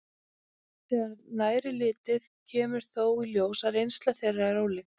Þegar nær er litið kemur þó í ljós að reynsla þeirra er ólík.